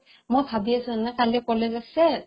মই ভাৱি আছো মানে কালি কলেজ আছে ।